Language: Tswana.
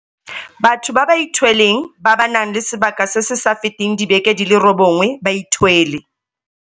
bathong ba ba ithweleng ba ba nang le sebaka se se sa feteng dibeke di le robongwe ba ithwele.